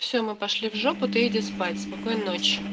все мы пошли в жопу ты иди спать спокойной ночи